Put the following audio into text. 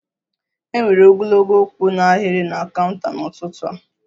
E nwere ogologo kwụ n'ahiri na kaunta n'ụtụtụ a